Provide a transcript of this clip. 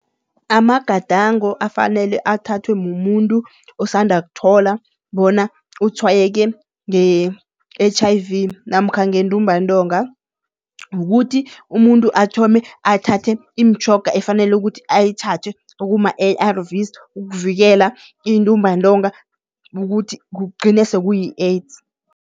Amagadango afanele athathwe mumuntu osanda ukuthola bona utshwayeke nge-H_I_V namkha ngentumbantonga, kukuthi umuntu athome athathe imitjhoga efanele ukuthi ayithathe okuma-A_R_Vs, ukuvikela intumbantonga ukuthi kugcine sekuyi-AIDS.